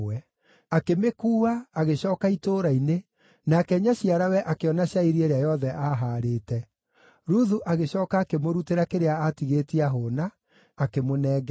Akĩmĩkuua, agĩcooka itũũra-inĩ, nake nyaciarawe akĩona cairi ĩrĩa yothe aahaarĩte. Ruthu agĩcooka akĩmũrutĩra kĩrĩa aatigĩtie aahũũna, akĩmũnengera.